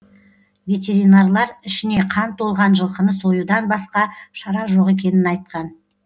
ветеринарлар ішіне қан толған жылқыны союдан басқа шара жоқ екенін айтқан